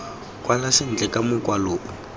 kwala sentle ka mokwalo o